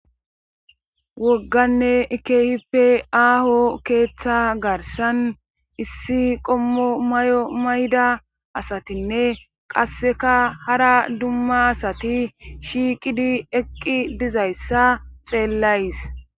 wogganne ikehippe aaho keeththa garsan issi qommo may7o mayda asatinne qasseka hara dumma asati shiiqidi eqqi dizayssa xeellays